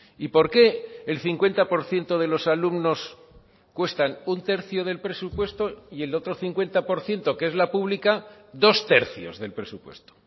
y por qué el cincuenta por ciento de los alumnos cuestan un tercio del presupuesto y el otro cincuenta por ciento que es la pública dos tercios del presupuesto